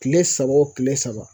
Kile saba o kile saba